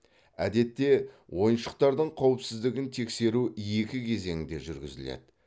әдетте ойыншықтардың қауіпсіздігін тексеру екі кезеңде жүргізіледі